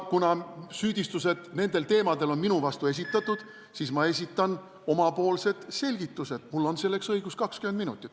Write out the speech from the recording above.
Kuna nendel teemadel on minu vastu süüdistused esitatud, siis ma esitan oma selgitused, mul on õigus seda teha 20 minutit.